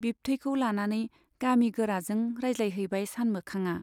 बिबथैखौ लानानै गामि गोराजों राजज्लायहैबाय सानमोखांआ।